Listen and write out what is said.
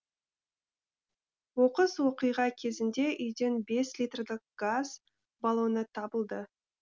оқыс оқиға кезінде үйден бес литрлік газ баллоны табылды